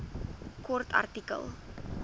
kort artikel